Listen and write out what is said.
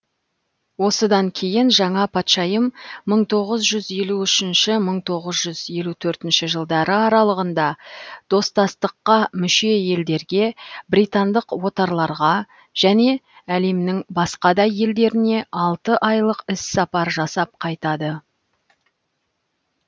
осыдан кейін жаңа патшайым мың тоғыз жүз елу үшінші мың тоғыз жүз елу төртінші жылдары аралығында достастыққа мүше елдерге британдық отарларға және әлемнің басқа да елдеріне алты айлық іс сапар жасап қайтады